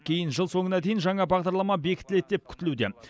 кейін жыл соңына дейін жаңа бағдарлама бекітіледі деп күтілуде